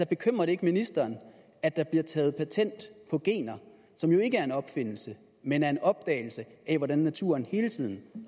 bekymrer det ikke ministeren at der bliver taget patent på gener som jo ikke er en opfindelse men er en opdagelse af hvordan naturen hele tiden